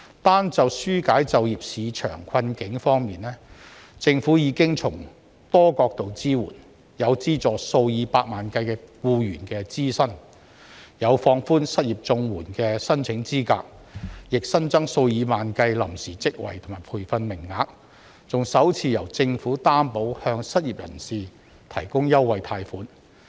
單就紓解就業市場困境方面，政府已經從多角度支援，有資助數以百萬計僱員的支薪，有放寬失業綜援的申請資格，也新增數以萬計臨時職位和培訓名額，還首次由政府擔保向失業人士提供優惠貸款。